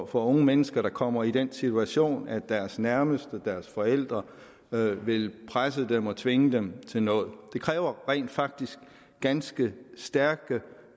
for unge mennesker der kommer i den situation at deres nærmeste deres forældre vil vil presse dem og tvinge dem til noget rent faktisk et ganske stærkt